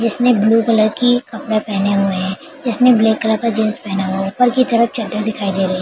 जिसमें blue colour की कपड़े पहने हुए है इसमें ब्लैक कलर का जींस पहना हुआ है ऊपर की तरफ चद्दर दिखाई दे रही है ।